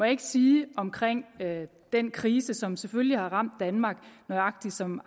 ikke sige om den krise som selvfølgelig har ramt danmark nøjagtig som